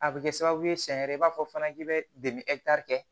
A bɛ kɛ sababu ye sɛɲɛ yɛrɛ b'a fɔ fana k'i bɛ kɛ